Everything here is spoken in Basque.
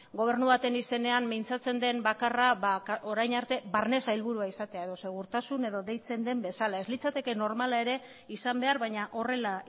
gobernu baten izenean mintzatzen den bakarra orain arte barne sailburua izatea edo segurtasun edo deitzen den bezala ez litzateke normala ere izan behar baina horrela